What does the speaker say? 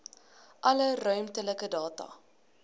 alle ruimtelike data